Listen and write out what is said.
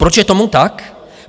Proč je tomu tak?